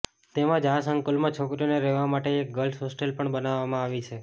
તેમજ આ સંકુલમાં છોકરીઓને રહેવા માટે એક ગર્લ્સ હોસ્ટેલ પણ બનાવવામાં આવી છે